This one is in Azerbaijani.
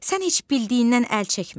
Sən heç bildiyindən əl çəkmə.